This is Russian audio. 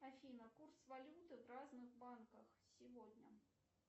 афина курс валюты в разных банках сегодня